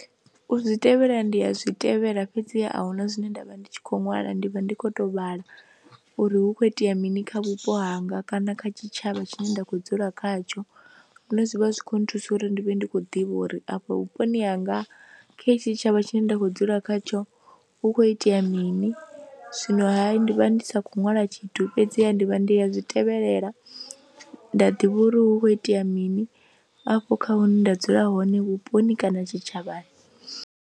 U zwi tevhela ndi a zwi tevhela fhedziha a hu na zwine nda vha ndi tshi khou ṅwala ndi vha ndi khou tou vhala uri hu khou itea mini kha vhupo hanga kana kha tshitshavha tshine nda khou dzula khatsho hune zwi vha zwi khou nthusa uri ndi vhe ndi khou ḓivha uri afha vhuponi hanga kha hetshi tshitshavha tshine nda khou dzula khatsho hu khou itea mini, zwinoha ndi vha ndi sa khou ṅwala tshithu fhedziha ndi vha ndi ya zwi tevhelela nda ḓivha uri hu khou itea mini afho kha hune nda dzula hone vhuponi kana tshitshavhani.